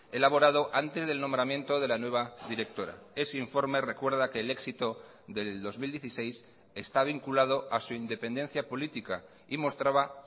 elaborado antes del nombramiento de la nueva directora ese informe recuerda que el éxito del dos mil dieciséis está vinculado a su independencia política y mostraba